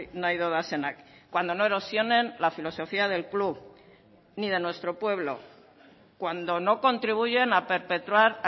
nahi dodazenak cuando no erosionen la filosofía del club ni de nuestro pueblo cuando no contribuyen a perpetrar